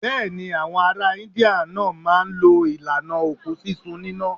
Bẹ́ẹ̀ ni, àwọn ará India náà máa ń lo ìlànà òkú sísun níná.